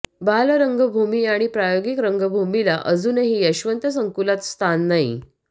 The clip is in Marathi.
बालरंगभूमी आणि प्रायोगिक रंगभूमीला अजूनही यशवंत संकुलात स्थान नाही